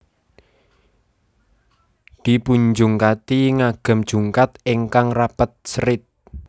Dipunjungkati ngagem jungkat ingkang rapet serit